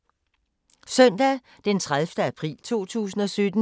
Søndag d. 30. april 2017